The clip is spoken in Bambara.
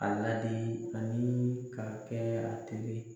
A ladi ani k'a kɛ a teri ye.